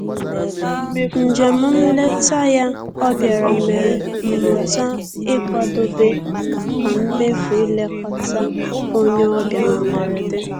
Njem nleta ya ọ bịara mere m mụta ịkwadobe maka mmefu ilekọta onye ọbịa na mberede